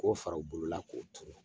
K'o fara u bolo la k'o tuuru.